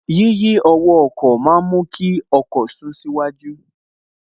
Yíyí ọwọ́ ọkọ̀ ma ń mú kí ọkọ̀ sún síwájú